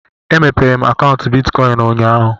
E mépéé m akaụntu bịtkọin ụnyaahụ